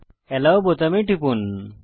আলো বোতামে টিপুন